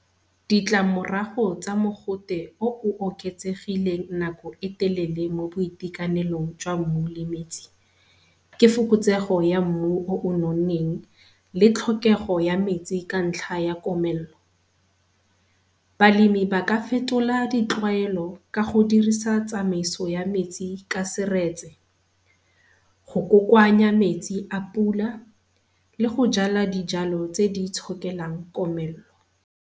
Ditlamorago tsa mogote o o oketsegileng nako e telele mo boitekanelong jwa mmu le metsi ke fokotsego ya mmu o o nonneng le tlhokego ya metsi ka ntlha ya komelelo tlhokomelo. Balemi ba ka fetola ditlwaelo ka go dirisa tsamaiso ya metsing ka seretse go kokoanya metsi a pula le go jala dijalo tse di itshokelang komello.